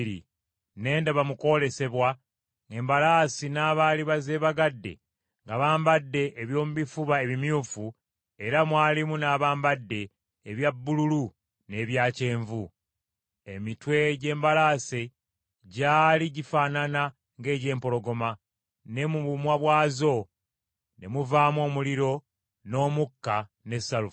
Ne ndaba mu kwolesebwa, ng’embalaasi n’abaali bazeebagadde nga bambadde eby’omu bifuba ebimyufu, era mwalimu n’abambadde ebya bbululu n’ebya kyenvu. Emitwe gy’embalaasi gyali gifaanana ng’egy’empologoma, ne mu bumwa bwazo ne muvaamu omuliro n’omukka ne salufa.